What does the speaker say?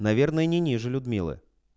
наверное не ниже людмилы